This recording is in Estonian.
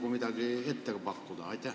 On neid nagu veel pakkuda?